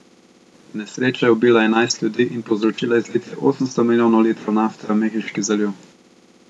Nesreča je ubila enajst ljudi in povzročila izlitje osemsto milijonov litrov nafte v Mehiški zaliv.